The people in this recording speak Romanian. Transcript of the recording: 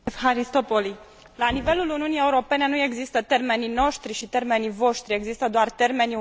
La nivelul Uniunii Europene nu există termenii noștri și termenii voștri, există doar termenii Uniunii Europene.